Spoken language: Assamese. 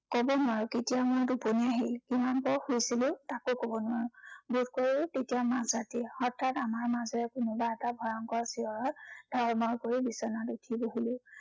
কব নোৱাৰো কেতিয়া মোৰ টোপনি আহিল। কিমান পৰ শুইছিলো তাকো কব নোৱাৰো। বোধ কৰো তেতিয়া মাজৰাতি। হঠাৎ আমাৰ মাজৰে কোনোবা এটাৰ ভয়ংকৰ চিঞৰত ধৰমৰ কৰি বিছনাত উঠি বহিলো।